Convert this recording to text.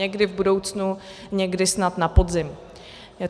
Někdy v budoucnu, někdy snad na podzim.